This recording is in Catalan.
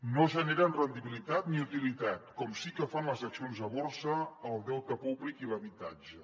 no generen rendibilitat ni utilitat com sí que fan les accions a borsa el deute públic i l’habitatge